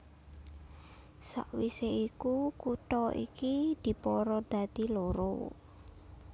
Sawisé iku kutha iki dipara dadi loro